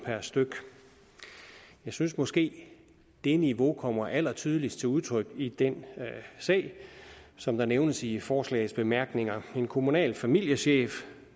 jeg synes måske det niveau kommer allertydeligst til udtryk i den sag som der nævnes i forslagets bemærkninger hvor en kommunal familiechef